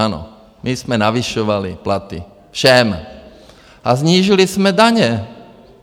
Ano, my jsme navyšovali platy všem a snížili jsme daně.